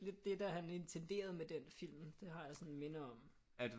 Er intenderet med den film det har jeg sådan et minde om